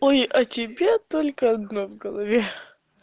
ой о тебе только одно в голове